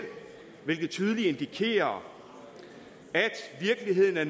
hvilket tydeligt indikerer at virkeligheden er